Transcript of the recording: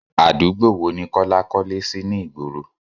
Àdúgbò wo ni Kọ́lá kọ́lé sì ni ìgboro?